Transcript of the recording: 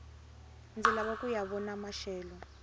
ndzi lava kuya vona maxelo